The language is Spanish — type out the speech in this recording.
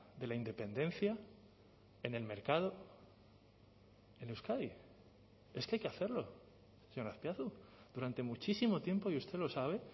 de la independencia en el mercado en euskadi es que hay que hacerlo señor azpiazu durante muchísimo tiempo y usted lo sabe